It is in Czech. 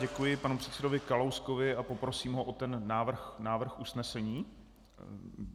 Děkuji panu předsedovi Kalouskovi a poprosím ho o ten návrh usnesení.